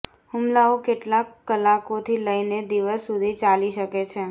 હુમલાઓ કેટલાક કલાકોથી લઈને દિવસ સુધી ચાલી શકે છે